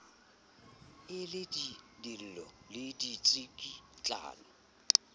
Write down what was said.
e le dillo le ditsikitlano